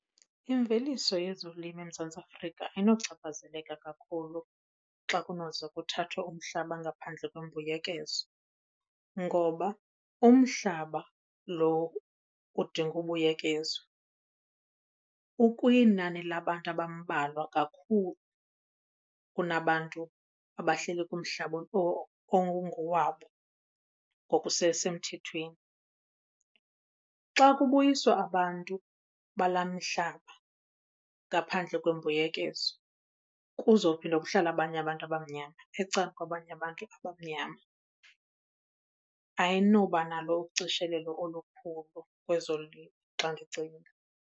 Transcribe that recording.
Imveliso yezolimo eMzantsi Afrika ayinochaphazeleka kakhulu xa kunoze kuthathwe umhlaba ngaphandle kwembuyekezo ngoba umhlaba lo udinga ubuyekezwa ukwinani labantu abambalwa kakhulu kunabantu abahleli kumhlaba ongowabo ngokusesemthethweni. Xa kubuyiswa abantu balaa mhlaba ngaphandle kwembuyekezo kuzophinda kuhlale abanye abantu abamnyama ecangkwabanye abantu abamnyama. Ayinoba nalo ucishelelo olukhulu kwezolimo xa ndicinga.